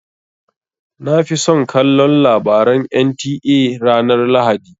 Na fi son kallon labaran NTA ranar lahadi.